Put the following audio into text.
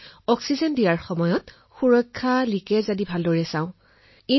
oxygen পৰিবহণৰ ক্ষেত্ৰত সুৰক্ষা লীকেজ আজি বহু বস্তু চাবলগীয়া হৈছিল